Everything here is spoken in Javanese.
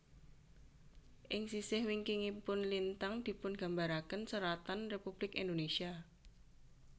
Ing sisih wingkingipun lintang dipungambaraken seratan Republik Indonesia